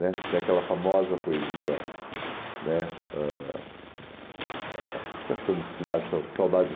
Né Tem aquela famosa poesia né ãh ah acho que Santi cidades é Saudades